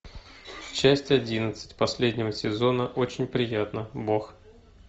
часть одиннадцать последнего сезона очень приятно бог